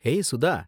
ஏய் சுதா!